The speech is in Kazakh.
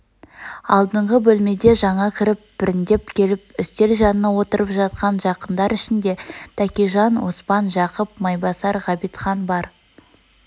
алдыңғы бөлмеден жаңа кіріп біріндеп келіп үстел жанына отырып жатқан жақындар ішінде тәкежан оспан жақып майбасар ғабитхан бар